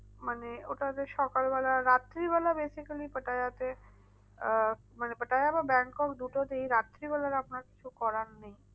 মানে ওটাতে সকাল বেলা রাত্রি বেলা basically পাটায়াতে আহ মানে পাটায় বা ব্যাংকক দুটোতেই রাত্রি বেলা তো আপনার কিছু করার নেই।